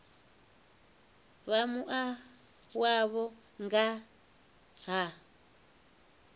vha mua wavho nga ha